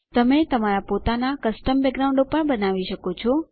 તમે તમારા પોતાનાં કસ્ટમ બેકગ્રાઉન્ડો પણ બનાવી શકો છો